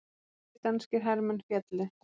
Tveir danskir hermenn féllu